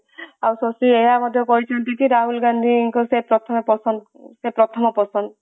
ଆଉ ଶକ୍ତି ଏଇଆ ମଧ୍ୟ କହିଛନ୍ତି ଯେ କି ରାହୁଲଙ୍କ ସେ ପ୍ରଥମେ ପସନ୍ଦ ସେ ପ୍ରଥମ ପସନ୍ଦ